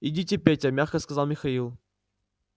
идите петя мягко сказал михаил